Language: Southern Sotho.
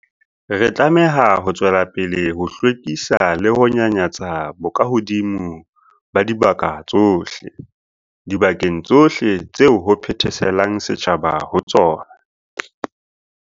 Re tlameha ho tswela pele ho hlwekisa le ho nyanyatsa bokahodimo ba dibaka tsohle, dibakeng tsohle tseo ho phetheselang setjhaba ho tsona.